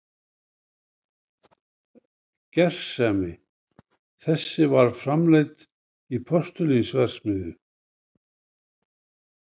Gersemi þessi var framleidd í postulínsverksmiðju